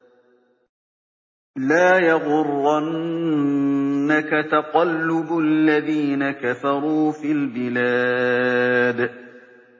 لَا يَغُرَّنَّكَ تَقَلُّبُ الَّذِينَ كَفَرُوا فِي الْبِلَادِ